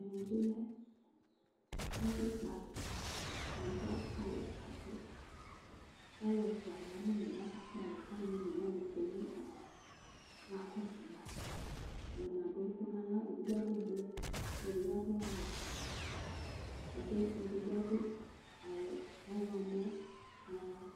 ɛmɛ bi lɛ ɛfu kpalɛ bʋa kaka kpalɛ, kalu ɛfʋa ya nu umɛ kaka kpalɛ kalu one wʋani ya nu udu kɔka kɔsu ma , ata ni adu ɛku n'aɣla , edigbo adu blɛ, edigbo adu ɔwɛ, gake edigbo adu awu ɔwlɔmɔ nu ava